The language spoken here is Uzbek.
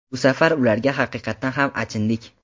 Bu safar ularga haqiqatan ham achindik.